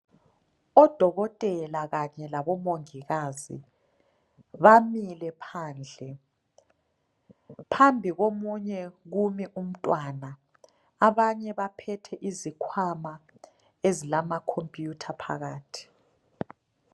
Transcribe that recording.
Odokotela kanye labomongikazi bamile phandle phambi komunye kumi umntwana abanye baphethe isikhwama ezilama computer phakathi.